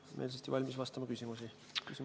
Olen meelsasti valmis vastama küsimustele.